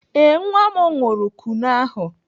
Ee, nwa m ṅụrụ Kunu ahụ.